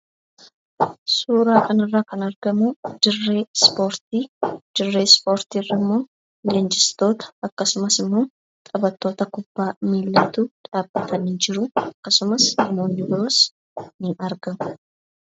Suuraa kanarraa kan argamu dirree ispoortii dirree ispoortiirrammoo leenjistoota, taphattoota kubbaa miilaatu dhaabbatanii jiru. Akkasumas namoonni biroos ni argamu.